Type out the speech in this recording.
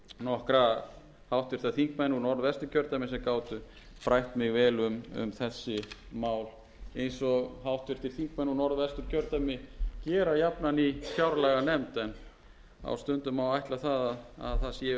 nokkra háttvirtir þingmenn úr norðvesturkjördæmi sem gátu frætt mig vel um þessi mál eins og háttvirtir þingmenn úr norðvesturkjördæmi gera jafnan í fjárlaganefnd en á stundum má ætla að það séu einungis